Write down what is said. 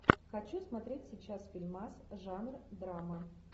хочу смотреть сейчас фильмас жанр драма